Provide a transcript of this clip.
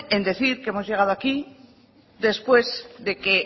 en decir que hemos llegado aquí después de que